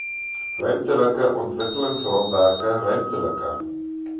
ruimtelike ontwikkelingsraamwerke ruimtelike